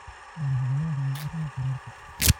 Boorash galleyda ayaa u roon carruurta.